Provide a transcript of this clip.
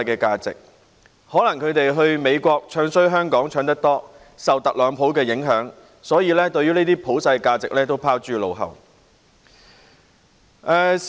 他們可能經常到美國詆毀香港，受特朗普的影響多了，所以把這些普世價值都拋諸腦後。